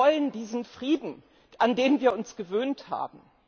Die wollen diesen Frieden, an den wir uns gewöhnt haben.